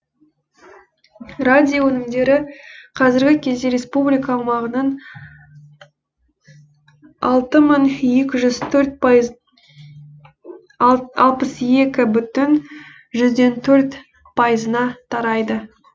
радио өнімдері қазіргі кезде республика аумағының алпыс екі бүтін жүзден төрт пайызына тарайды